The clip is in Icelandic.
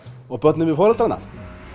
og börnin við foreldrana